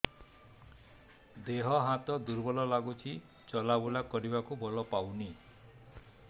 ଦେହ ହାତ ଦୁର୍ବଳ ଲାଗୁଛି ଚଲାବୁଲା କରିବାକୁ ବଳ ପାଉନି